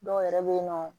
Dɔw yɛrɛ bɛ yen nɔ